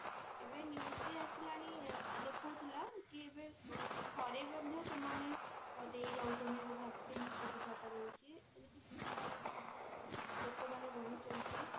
ଏବେ news ବି ଆସିଲାଣି ଦେଖାଉଥିଲା କି ଏବେ ଘରେ ମଧ୍ୟ ସେମାନେ ଦେଇଯାଉଛନ୍ତି vaccine ସୁବିଧା ଟା ରହୁଛି ଆଉ ଲୋକମାନେ ରହୁଛନ୍ତି